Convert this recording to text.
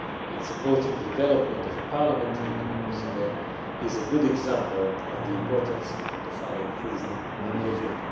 and supporting the development of a parliamentary democracy there is a good example of the importance of our increased engagement.